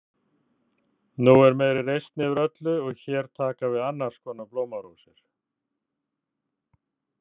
Nú er meiri reisn yfir öllu og hér taka við annars konar blómarósir.